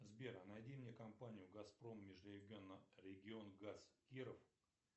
сбер а найди мне компанию газпром межрегионгаз киров